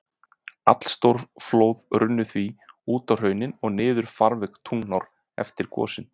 Allstór flóð runnu því út á hraunin og niður farveg Tungnaár eftir gosin.